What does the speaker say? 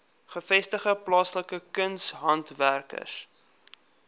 gevestigde plaaslike kunshandwerkers